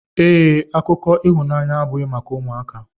Ee, akụkọ ịhụnanya abụghị maka ụmụaka.